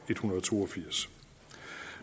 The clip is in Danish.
hundrede og to og firs